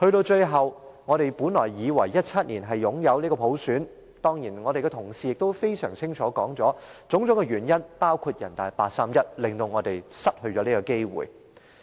最後，我們本來以為2017年能擁有普選，我們的同事已清楚說明種種原因，包括人大常委會八三一決定令我們失去了這個機會。